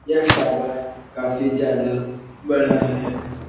यह टावर काफी ज्यादा बड़ा है।